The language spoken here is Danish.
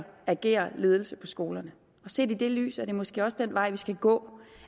agere ledelse på skolerne og set i det lys er det måske også den vej vi skal gå